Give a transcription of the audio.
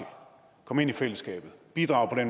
komme ind i fællesskabet bidrage